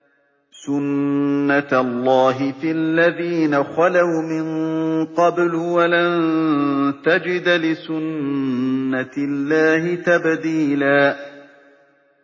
سُنَّةَ اللَّهِ فِي الَّذِينَ خَلَوْا مِن قَبْلُ ۖ وَلَن تَجِدَ لِسُنَّةِ اللَّهِ تَبْدِيلًا